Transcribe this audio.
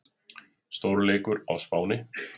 Stórleikur á Spáni